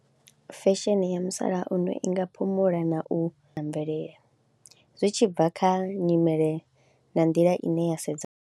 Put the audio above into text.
Fesheni ya musalauno i nga phumula na u mvelele zwi tshi bva kha nyimele na nḓila ine ya sedza .